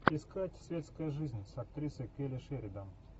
искать светская жизнь с актрисой келли шеридан